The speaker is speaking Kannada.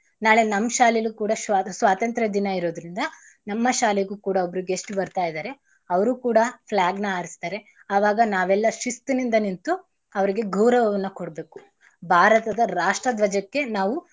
ನಾಳೆ ನಮ್ ಶಾಲೆಲು ಕೂಡ ಶ್ವ~ ಸ್ವಾತಂತ್ರ ದಿನ ಇರೋದ್ರಿಂದ ನಮ್ಮ ಶಾಲೆಗೂ ಕೂಡ ಒಬ್ರು guest ಬರ್ತಾ ಇದಾರೆ. ಅವ್ರೂ ಕೂಡ flag ನ ಹಾರಿಸ್ತಾರೆ ಅವಾಗ ನಾವೆಲ್ಲಾ ಶಿಸ್ತಿನಿಂದ ನಿಂತು ಅವ್ರಿಗೆ ಗೌರವವನ್ನ ಕೊಡ್ಬೇಕು. ಭಾರತದ ರಾಷ್ಟ್ರ ಧ್ವಜಕ್ಕೆ ನಾವು.